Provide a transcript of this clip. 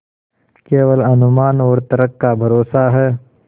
केवल अनुमान और तर्क का भरोसा है